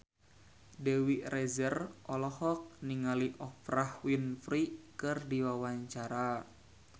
Dewi Rezer olohok ningali Oprah Winfrey keur diwawancara